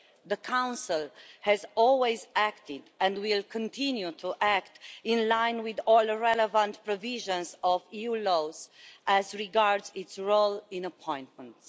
The Council has always acted and will continue to act in line with all the relevant provisions of EU law as regards its role in appointments.